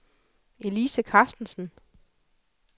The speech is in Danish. Elise Carstensen